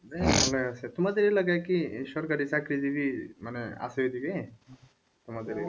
ভালো আছে তোমাদের এলাকায় কি সরকারি চাকরিজীবী মানে আছে ওদিকে? তোমাদের ঐদিকে?